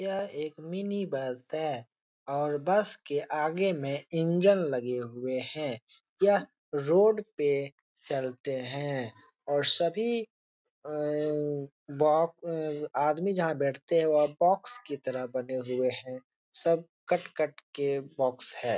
यह एक mini bus है और बस के आगे में इंजन लगे हुए है यह रोड पे चलते है और सभी अअअ आदमी जहां बैठते है वहां बोक्स की तरह बने हुए है सब कट - कट के बोक्स है।